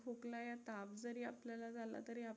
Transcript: खोकला या ताप जरी आपल्याला झाला तरी